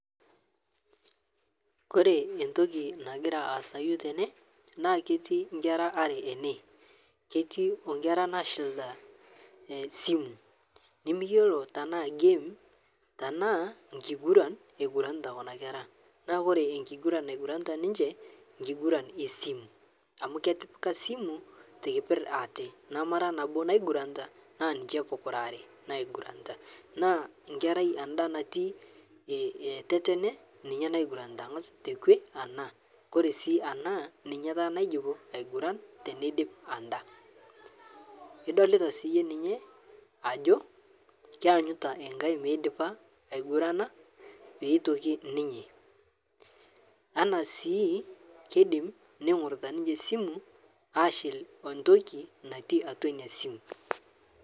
Kore entokii nagiraa aasayuo tene naa ketii nkerra aare ene , ketii onkerra nashiliita esimu nimiiyeloo tana game tana nkiguran eguranita kuna nkerra. Naa kore nkiguran naiguranita ninchee kiguran e simu amu ketipikaa simu te kepeer aate namara naboo naiguaranita naa ninchee puukira aare naiguranita. Naa nkerrai andaa natii tetene ninyee naiguranita ang'aas te kwee ana. Kore sii ana ninyee taa naijuupu aigurana tenediip ana. Edolita sii iyee ninyee ajoo ainyitaa enkaai meidipaa aigurana pee etokii ninyee, ana sii keidiim neing'urutaa ninchee simu ashiil ontokii natii atua nia simu.